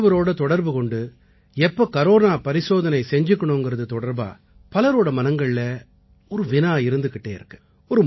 மருத்துவரோட தொடர்பு கொண்டு எப்ப கரோனா பரிசோதனை செஞ்சுக்கணுங்கறது தொடர்பா பலரோட மனங்கள்ல ஒரு வினா இருந்துக்கிட்டு இருக்கு